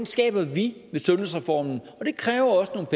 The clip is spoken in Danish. skaber vi med sundhedsreformen og det kræver også